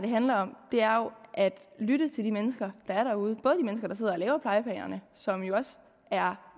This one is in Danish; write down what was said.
handler om jo er at lytte til de mennesker der er derude og som jo også er